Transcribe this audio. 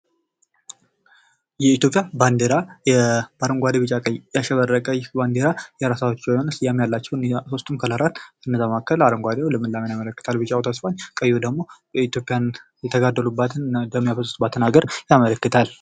የኢትዮጵያ ባንድራ አረንጓዴ ፣ቢጫ፣ ቀይ ያሸበረቀይ ባንድራ የራሳቸው የሆነ ስያሜ አላቸው። ሶስቱም ቀለማትከነዚያ መካከል አረንጓዴው ልምላሜን ያመለክታል ፤ቢጫው ተስፋን ቀዩ ደግሞ የኢትዮጵያን የተጋደሉባትን ደም ያፈሰሱባትን ሀገር ያመለክታል።